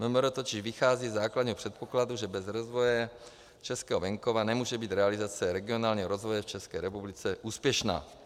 MMR totiž vychází ze základního předpokladu, že bez rozvoje českého venkova nemůže být realizace regionálního rozvoje v České republice úspěšná.